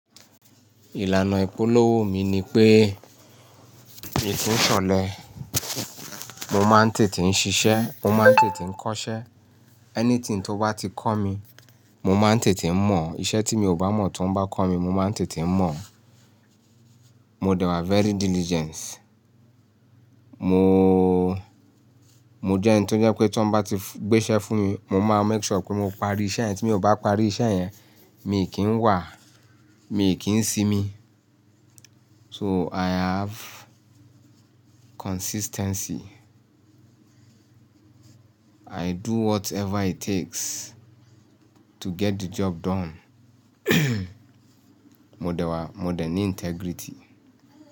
Ìlànà ìpolówó mi ni pé èyí tí ń ṣọlẹ̀, mo máa ń tètè ń ṣiṣẹ́, mo máa ń tètè ń kọ́ṣẹ́. Anything tó bá ti kọ́ mi, mo máa ń tètè ń mọ̀. Iṣẹ́ tí mi ò bá mọ̀ tó ń bá kọ́ mi, mo máa ń tètè ń mọ̀. Mo dẹwà very diligent. Mo, mo jẹ́ ẹni tó jẹ́ pé tí wọ́n bá ti gbé iṣẹ́ fún mi, mo máa make sure pé mo parí iṣẹ́ yẹn tí mi ò bá parí iṣẹ́ yẹn, mi kì í wà, mi kì í si mi. So I have consistency. I do whatever it takes to get the job done. Mo dẹwà, mo dẹ ní integrity.